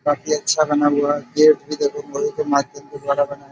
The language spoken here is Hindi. काफी अच्छा बना हुआ है। गेट भी देखो के द्वारा बना है।